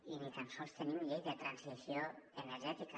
i ni tan sols tenim la llei de transició energètica